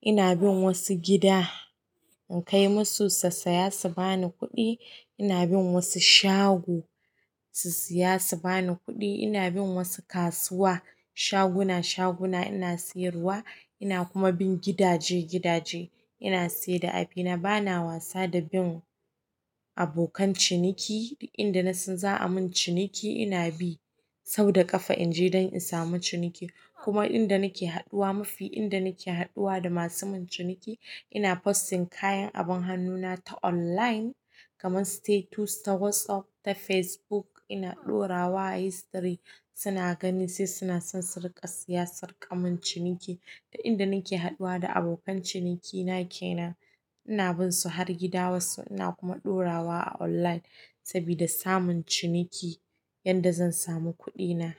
Ina bin wasu gida in kai musu su saya, su bani kuɗi. Ina bin wasu shago su siya, su bani kuɗi. Ina bin wasu kasuwa, shaguna shaguna ina siyarwa. Ina kuma bin gidaje gidaje ina saida abina. Bana wasa da bin abokan ciniki. Inda na san za a mun ciniki ina bi sau da ƙafa in je don in samu cinikin. Kuma inda nake haɗuwa musi inda nake haɗuwa da masu yimin ciniki ina posting kayan abun hannuna ta online kamar status na whatsapp ta facebook ina ɗora wa history suna gani sai suna son su riƙa siya, su riƙa mun ciniki. Ta inda nake haɗuwa da abokan cinikina kenan ina bin su har gida wasu ina kuma ɗora wa a online sabida samun ciniki yanda zan samu kuɗina.